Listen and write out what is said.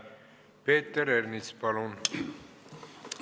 Peeter Ernits, palun!